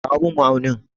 Kawo min ma'aunin.